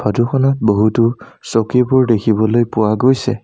Photo খনত বহুতো চকীবোৰ দেখিবলৈ পোৱা গৈছে।